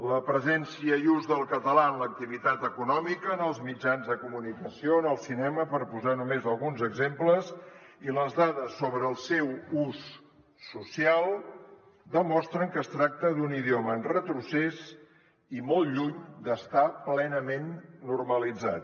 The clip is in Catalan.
la presència i ús del català en l’activitat econòmica en els mitjans de comunicació en el cinema per posar només alguns exemples i les dades sobre el seu ús social demostren que es tracta d’un idioma en retrocés i molt lluny d’estar plenament normalitzat